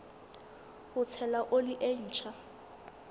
ho tshela oli e ntjha